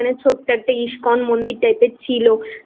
একটা ISKCON মন্দির type এর ছিল